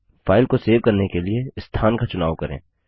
file को save करने के लिए स्थान का चुनाव करें